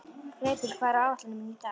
Greipur, hvað er á áætluninni minni í dag?